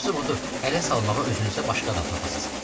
Yaxşısı budur, elə salmağa özünü isə başqadan taparsız.